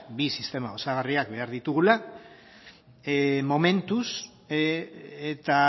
bi sistema osagarriak behar ditugula momentuz eta